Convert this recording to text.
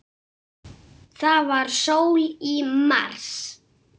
Það var sól í mars.